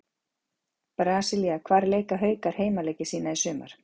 Brasilía Hvar leika Haukar heimaleiki sína í sumar?